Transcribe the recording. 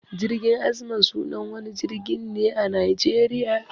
Jirgin azman sunan wani jirgin ne a Najeriya.